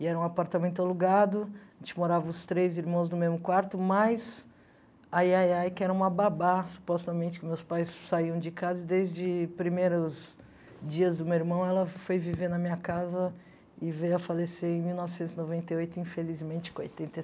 E era um apartamento alugado, a gente morava os três irmãos no mesmo quarto, mais a Yayai, que era uma babá, supostamente, que meus pais saíam de casa, desde os primeiros dias do meu irmão, ela foi viver na minha casa e veio a falecer em mil novecentos e noventa e oito, infelizmente, com oitenta e